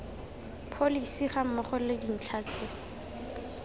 pholesi gammogo le dintlha tse